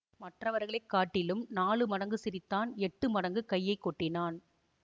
மற்றவர்களை காட்டிலும் நாலு மடங்கு சிரித்தான் எட்டு மடங்கு கையை கொட்டினான்